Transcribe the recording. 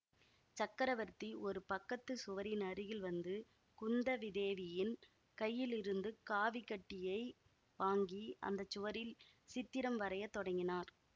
சக்கரவர்த்தி ஒரு பக்கத்து சுவரின் அருகில் வந்து குந்தவிதேவியின் கையிலிருந்து காவிக் கட்டியை வாங்கி அந்த சுவரில் சித்திரம் வரையத் தொடங்கினார்